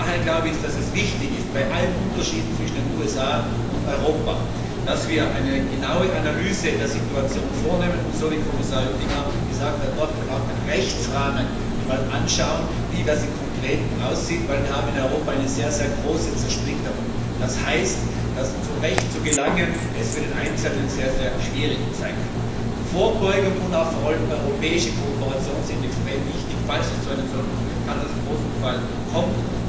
Daher glaube ich, dass es wichtig ist, bei allen Unterschieden zwischen den USA und Europa, dass wir eine genaue Analyse der Situation vornehmen und so wie Kommissar Oettinger gesagt hat wirklich auch den Rechtsrahmen einmal anschauen, wie das im Konkreten ausschaut, denn wir haben in Europa eine sehr, sehr große Zersplitterung. Das heißt, dass zum Recht zu gelangen für den Einzelnen sehr schwierig sein kann. Vorbeugung und auch vor allem europäische Kooperation sind extrem wichtig, falls es zu so einem Katastrophenfall kommt.